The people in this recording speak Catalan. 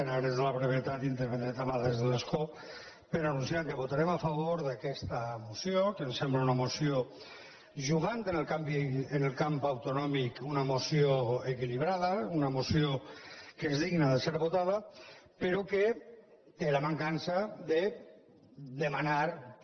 en ares de la brevetat intervindré també des de l’escó per anunci·ar que votarem a favor d’aquesta moció que em sem·bla una moció jugant en el camp autonòmic equi·librada una moció que és digna de ser votada però que té la mancança de demanar per